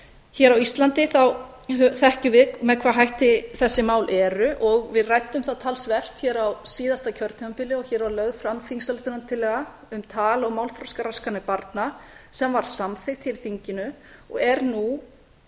hér á íslandi þá þekkjum við með hvaða hætti þessi mál eru og við ræddum það talsvert á síðasta kjörtímabili og hér var lögð fram á um tal og málþroskaraskanir barna sem var samþykkt hér í þinginu og er nú